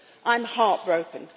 I'm heartbroken